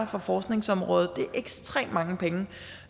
fra forskningsområdet det er ekstremt mange penge